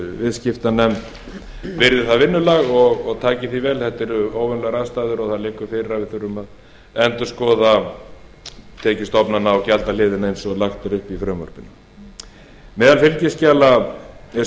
viðskiptanefnd virði það vinnulag og taki því vel þetta eru óvenjulegar aðstæður og það liggur fyrir að við þurfum að endurskoða tekjustofnana og gjaldahliðina eins og lagt er upp í frumvarpinu meðal fylgiskjala er